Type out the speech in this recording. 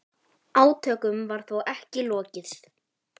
Átökum var þó ekki lokið.